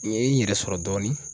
N ye n yɛrɛ sɔrɔ dɔɔnin.